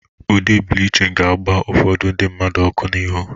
Ụde Blichịn ga-agba ụfodu ndi mmadu ọkụ n'ịhu.